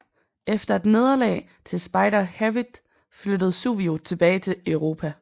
Efter et nederlag til Spider Hewitt flyttede Suvio tilbage til Europa